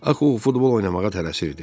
Axı o futbol oynamağa tələsirdi.